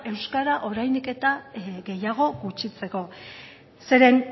euskara oraindik eta gehiago gutxitzeko zeren